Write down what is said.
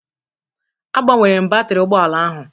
Agbanwere m batrị ụgbọ ala ahụ